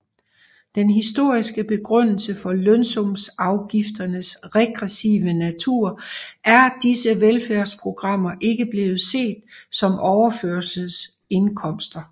Den historiske begrundelse for lønsumsafgifternes regressive natur er disse velfærdsprogrammer ikke blevet set som overførselsindkomster